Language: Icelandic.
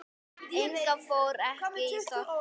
Inga fór ekki í Sorpu.